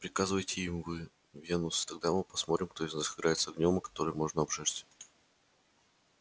приказывайте им вы венус и тогда мы посмотрим кто из нас играет с огнём о который можно обжечься